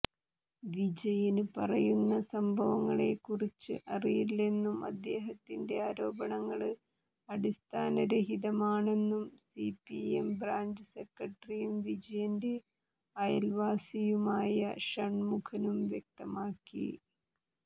വിജയന് പറയുന്ന സംഭവങ്ങളെക്കുറിച്ച് അറിയില്ലെന്നും അദ്ദേഹത്തിന്റെ ആരോപണങ്ങള് അടിസ്ഥാനരഹിതമാണെന്നും സിപിഎം ബ്രാഞ്ച് സെക്രട്ടറിയും വിജയന്റെ അയല്വാസിയുമായ ഷണ്മുഖനും വ്യക്തമാക്കി